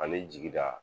Ani jigida